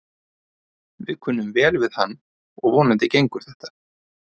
Við kunnum vel við hann og vonandi gengur þetta.